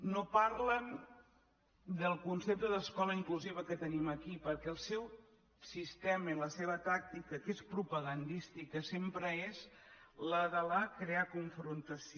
no parlen del concepte d’escola inclusiva que tenim aquí perquè el seu sistema i la seva tàctica que és pro·pagandística sempre és la de crear confrontació